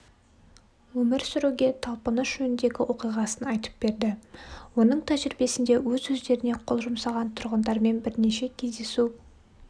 өмір сүруге талпыныс жөніндегі оқиғасын айтып берді оның тәжірибесінде өз-өздеріне қол жұмсаған тұрғындармен бірнеше кездесу